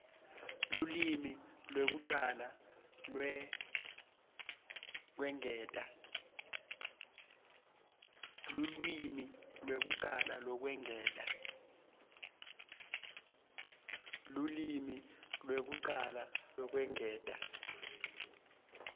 lulwimi lwekucala lwekwengeta